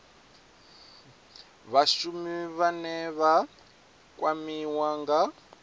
vhashumi vhane vha kwamiwa nga